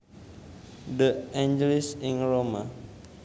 De Angelis ing Roma